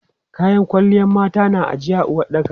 Kayan kwalliyan mata na ijiye a uwaɗɗaka.